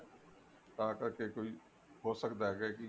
ਤਾਂ ਕਰਕੇ ਇੱਕ ਵਾਰੀ ਹੋ ਸਕਦਾ ਐ ਕਿ